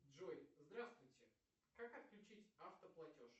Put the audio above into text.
джой здравствуйте как отключить авто платеж